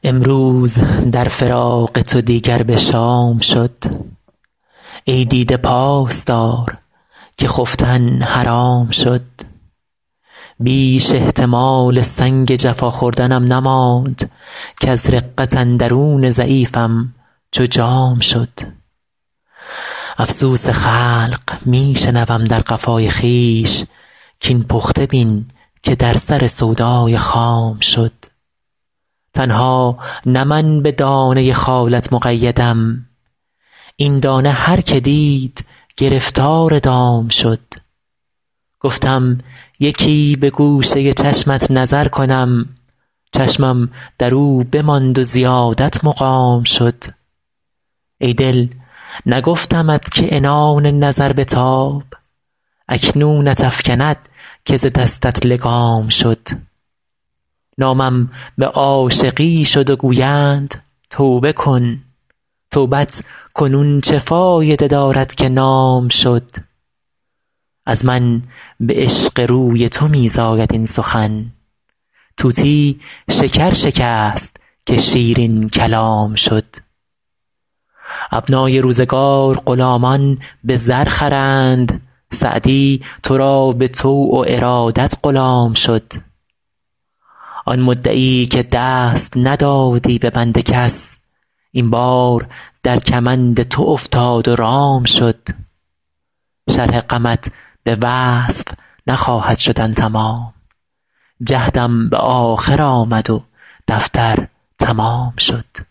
امروز در فراق تو دیگر به شام شد ای دیده پاس دار که خفتن حرام شد بیش احتمال سنگ جفا خوردنم نماند کز رقت اندرون ضعیفم چو جام شد افسوس خلق می شنوم در قفای خویش کاین پخته بین که در سر سودای خام شد تنها نه من به دانه خالت مقیدم این دانه هر که دید گرفتار دام شد گفتم یکی به گوشه چشمت نظر کنم چشمم در او بماند و زیادت مقام شد ای دل نگفتمت که عنان نظر بتاب اکنونت افکند که ز دستت لگام شد نامم به عاشقی شد و گویند توبه کن توبت کنون چه فایده دارد که نام شد از من به عشق روی تو می زاید این سخن طوطی شکر شکست که شیرین کلام شد ابنای روزگار غلامان به زر خرند سعدی تو را به طوع و ارادت غلام شد آن مدعی که دست ندادی به بند کس این بار در کمند تو افتاد و رام شد شرح غمت به وصف نخواهد شدن تمام جهدم به آخر آمد و دفتر تمام شد